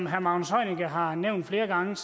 herre magnus heunicke har nævnt flere gange